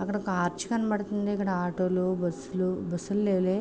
అక్కడ ఒక అర్చ్ కనబడుతుంది. అక్కడ ఆటో లు బస్సు లు.బస్సు లు లేవులే.